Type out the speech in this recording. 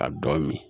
A dɔn min